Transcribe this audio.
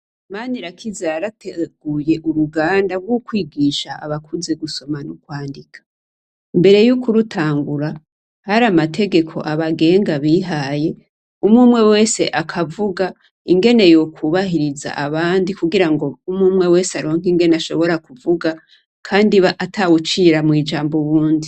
Manirakiza yarateguye uruganda gukwigisha abakuze gusoma nukwandika mbere yukurutangura hari amategeko abagenga bihaye umwumwe wese akavuga ingene yokubahiriza abandi kugirango umwumwe wese aronke ingene ashobora kuvuga kandi atawucira mwijambo uwundi